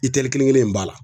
itɛli kelen kelen in b'a la